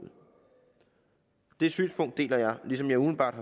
det synspunkt deler jeg ligesom jeg umiddelbart